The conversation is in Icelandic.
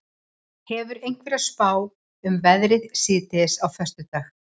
hefurðu einhverja spá um veðrið síðdegis á föstudag